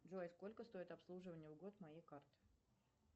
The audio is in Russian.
джой сколько стоит обслуживание в год моей карты